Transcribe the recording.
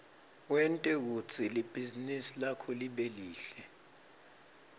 wente kutsi libhizinisi lakho libe lihle